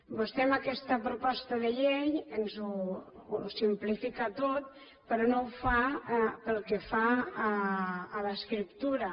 vostè amb aquesta proposta de llei ens ho simplifica tot però no ho fa pel que fa a l’escriptura